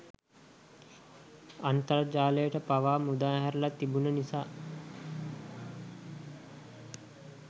අන්තර්ජාලයට පවා මුදාහැරලා තිබුන නිසා.